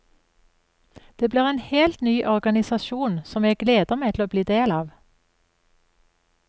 Det blir en helt ny organisasjon som jeg gleder meg til å bli del av.